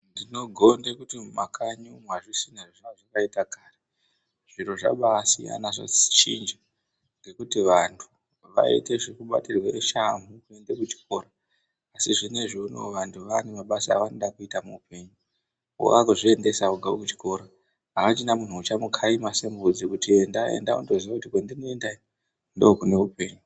Ndinogonde kuti mumakanyi umu amusisiri zvamanga makaita kare zviro zvabaasiyana zvachinja ngekuti vanhu vaite zvekubatirwe shamhu kuende kuchikora asi zvineizvi unou vantu vaane mabasa avanode kuita muupenyu wakuzviendesa ega kuchikora achina munhu uchamukaima sembudzi kuti endea, enda, wakuziye kuti kwandinoendayo ndiko kuneupenyu.